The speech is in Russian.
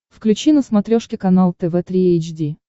включи на смотрешке канал тв три эйч ди